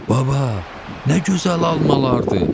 Baba, nə gözəl almalardır!